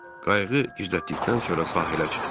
Qayığı gizlətdikdən sonra sahilə çıxdım.